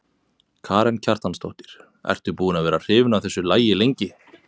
Karen Kjartansdóttir: Ertu búin að vera hrifin af þessu lagi lengi?